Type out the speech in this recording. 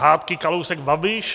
Hádky Kalousek - Babiš?